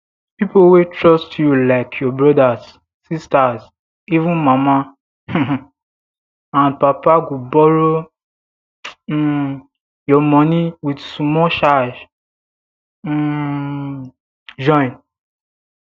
pipo wey trust you like your brothers sisters even mama um and papago borrow um you money with small charges um join